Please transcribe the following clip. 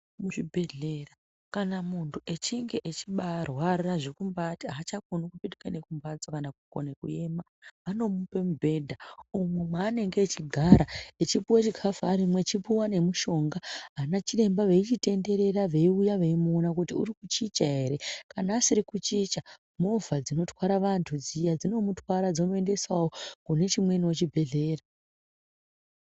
Muzvibhedhlera kana muntu echinve echibaarwara zvekumbati aachakoni nekupetuka nekumhatso vanomupe mubhedha umwu mwaanenge echigara echipuwe chikafu arimwo eipuwa nemuchonga ana chiremba veichitenderera veiuya veimuona kuti uri kuchicha ere kana asiri kuchicha movha dzinotwara vantu dziya dzinomutwara dzomuendesawo kune chimweniwo chibhedhlera.